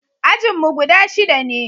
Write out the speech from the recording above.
ajinmu guda shida ne